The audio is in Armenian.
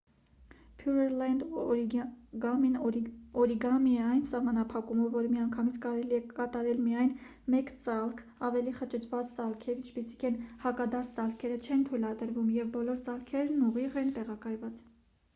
փյուըրլենդ օրիգամին օրիգամի է այն սահմանափակումով որ միանգամից կարելի է կատարել միայն մեկ ծալք ավելի խճճված ծալքեր ինչպիսիք են հակադարձ ծալքերը չեն թույլատրվում և բոլոր ծալքերն ուղիղ են տեղակայված